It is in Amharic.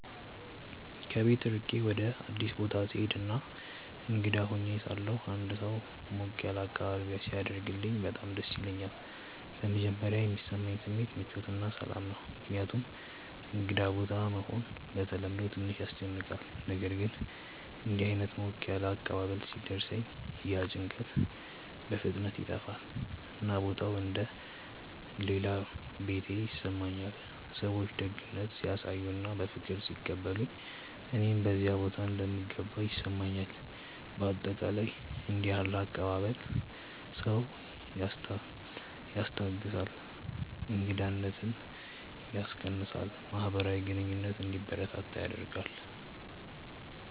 ከቤት ርቄ ወደ አዲስ ቦታ ስሄድ እና እንግዳ ሆኜ ሳለሁ አንድ ሰው ሞቅ ያለ አቀባበል ሲያደርግልኝ በጣም ደስ ይለኛል። በመጀመሪያ የሚሰማኝ ስሜት ምቾት እና ሰላም ነው፣ ምክንያቱም እንግዳ ቦታ መሆን በተለምዶ ትንሽ ያስጨንቃል። ነገር ግን እንዲህ ዓይነት ሞቅ ያለ አቀባበል ሲደርሰኝ ያ ጭንቀት በፍጥነት ይጠፋል፣ እና ቦታው እንደ “ ሌላ ቤቴ ” ይሰማኛል። ሰዎች ደግነት ሲያሳዩ እና በፍቅር ሲቀበሉኝ እኔም በዚያ ቦታ እንደምገባ ይሰማኛል። በአጠቃላይ እንዲህ ያለ አቀባበል ሰውን ያስታግሳል፣ እንግዳነትን ያስቀንሳል እና ማህበራዊ ግንኙነት እንዲበረታ ያደርጋል።